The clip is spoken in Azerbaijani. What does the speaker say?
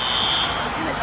Təcili təcili.